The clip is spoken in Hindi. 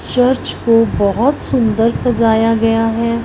चर्च को बहोत सुंदर सजाया गया है।